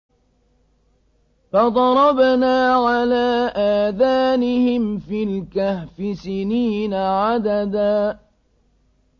فَضَرَبْنَا عَلَىٰ آذَانِهِمْ فِي الْكَهْفِ سِنِينَ عَدَدًا